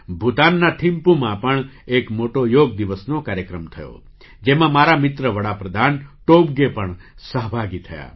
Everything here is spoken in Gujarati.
ભૂતાનના થિંપૂમાં પણ એક મોટો યોગ દિવસનો કાર્યક્રમ થયો જેમાં મારા મિત્ર વડા પ્રધાન ટોબગે પણ સહભાગી થયા